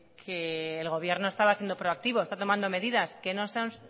que el gobierno estaba siendo proactivo está tomando medidas que no son